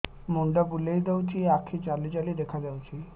ମୁଣ୍ଡ ବୁଲେଇ ଦଉଚି ଆଖି ଜାଲି ଜାଲି ଦେଖା ଯାଉଚି